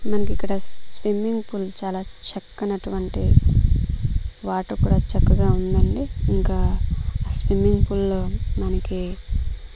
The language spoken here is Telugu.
మనకి ఇక్కడ స్ స్విమ్మింగ్ పూల్ చాలా చక్కనటువంటి వాటర్ కూడా చక్కగా ఉందండి ఇంకా ఆ స్విమ్మింగ్ పూల్ లో మనకీ --